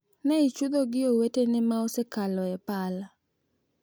Ne ichudho gi owetene ma osekalo e pala,